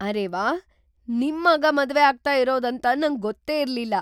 ಅರೇ ವಾಹ್! ನಿಮ್ ಮಗ ಮದ್ವೆ ಆಗ್ತಾ ಇರೋದ್ ಅಂತ ನಂಗ್ ಗೊತ್ತೇ ಇರ್ಲಿಲ್ಲ!